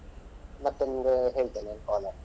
ಮತ್ತೆ ನಿಮ್ಗೆ ಹೇಳ್ತೇನೆ ನಾನ್ call ಅಲ್ಲಿ.